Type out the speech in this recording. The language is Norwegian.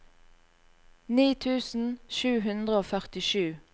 ni tusen sju hundre og førtisju